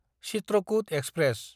Chitrakoot express